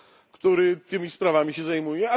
który tymi sprawami się zajmuje?